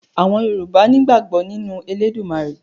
Àwọn Yorùbá nígbàgbọ́ nínú Elédùmarè